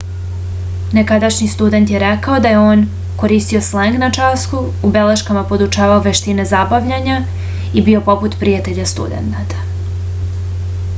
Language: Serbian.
nekadašnji student je rekao da je on koristio sleng na času u beleškama podučavao veštine zabavljanja i bio poput prijatelja studenata